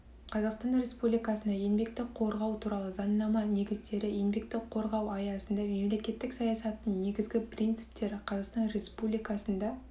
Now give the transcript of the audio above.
қазақстан республикасында еңбекті қорғау туралы заңнама негіздері еңбекті қорғау аясында мемлекеттік саясаттың негізгі прнциптері қазақстан республикасында